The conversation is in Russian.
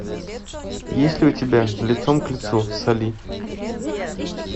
есть ли у тебя лицом к лицу с али